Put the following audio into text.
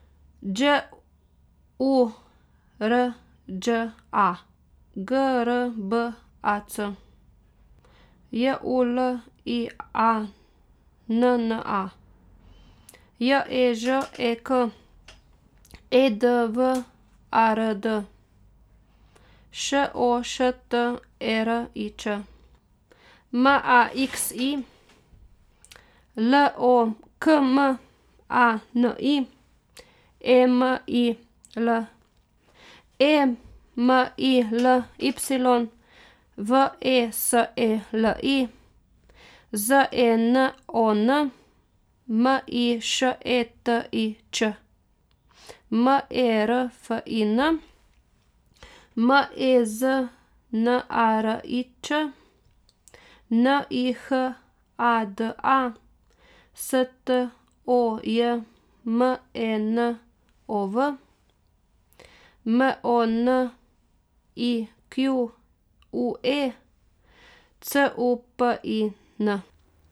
Đ U R Đ A, G R B A C; J U L I A N N A, J E Ž E K; E D W A R D, Š O Š T E R I Č; M A X I, L O K M A N I; E M I L E M I L Y, V E S E L I; Z E N O N, M I Š E T I Ć; M E R F I N, M E Z N A R I Č; N I H A D A, S T O J M E N O V; M O N I Q U E, C U P I N.